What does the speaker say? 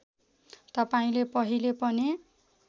तपाईँले पहिले पनि